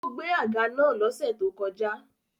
Ó gbẹ́ àga naa lọ́sẹ̀ tó kọjá